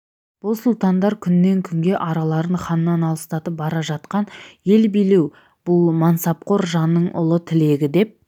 бұл сұлтандар күннен-күнге араларын ханнан алыстатып бара жатқан ел билеу бұл мансапқор жанның ұлы тілегі деп